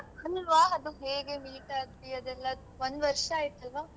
ಅಲ್ವಾ ಅದು ಹೇಗೆ meet ಆದ್ವಿ ಅದೆಲ್ಲ ಒಂದ್ ವರ್ಷ ಆಯ್ತಲ್ವಾ.